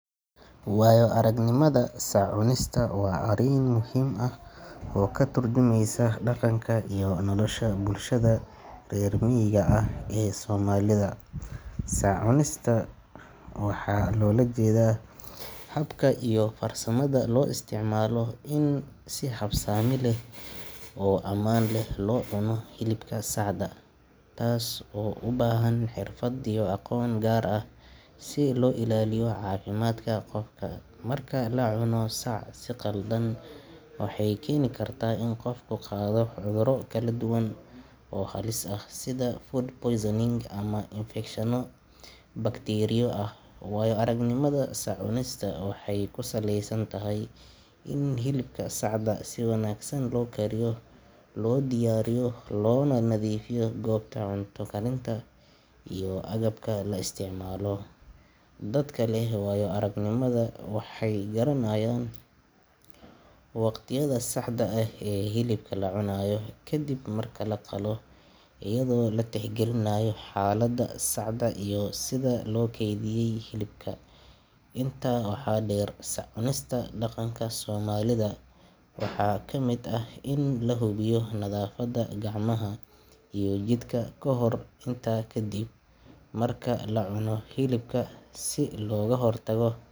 Wayo-aragnimada sac-cunista waa arrin muhiim ah oo ka turjumeysa dhaqanka iyo nolosha bulshada reer miyiga ah ee Soomaalida. Sac-cunista waxaa loola jeedaa habka iyo farsamada loo isticmaalo in si habsami leh oo ammaan ah loo cuno hilibka sacda, taas oo u baahan xirfad iyo aqoon gaar ah si loo ilaaliyo caafimaadka qofka. Marka la cuno sac si khaldan, waxay keeni kartaa in qofku qaado cudurro kala duwan oo halis ah, sida food poisoning ama infekshanno bakteeriyo ah. Wayo-aragnimada sac-cunista waxay ku saleysan tahay in hilibka sacda si wanaagsan loo kariyo, loo diyaariyo, loona nadiifiyo goobta cunto karinta iyo agabka la isticmaalo. Dadka leh waayo-aragnimadan waxay garanayaan waqtiga saxda ah ee hilibka la cunayo kadib marka la qalo, iyadoo la tixgelinayo xaaladda sacda iyo sida loo kaydiyay hilibka. Intaa waxaa dheer, sac-cunista dhaqanka Soomaalida waxaa ka mid ah in la hubiyo nadaafadda gacmaha iyo jidhka kahor iyo kadib marka la cuno hilibka si looga hortago